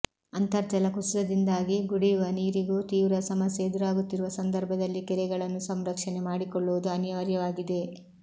ಅಂತರ್ಜಲ ಕುಸಿತದಿಂದಾಗಿ ಕುಡಿಯುವ ನೀರಿಗೂ ತೀವ್ರ ಸಮಸ್ಯೆ ಎದುರಾಗುತ್ತಿರುವ ಸಂದರ್ಭದಲ್ಲಿ ಕೆರೆಗಳನ್ನು ಸಂರಕ್ಷಣೆ ಮಾಡಿಕೊಳ್ಳುವುದು ಅನಿವಾರ್ಯವಾಗಿದೆ